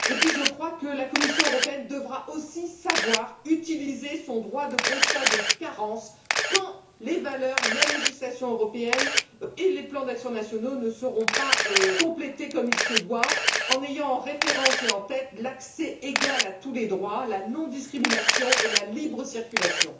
Je crois, ensuite, que la Commission européenne devra aussi savoir utiliser son droit de constat de carence quand les valeurs, la législation européenne et les plans d'action nationaux ne seront pas complétés comme il se doit, en ayant en référence et en tête l'accès égal à tous les droits, la non discrimination et la libre circulation.